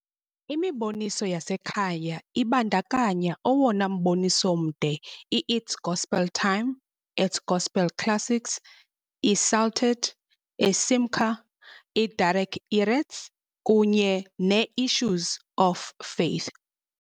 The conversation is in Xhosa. Imiboniso yasekhaya ibandakanya owona mboniso mde I-It's Gospel Time, i-Gospel Classics, i-Psalted, i-Simcha, i-Derech Erets, kunye ne-Issues of Faith.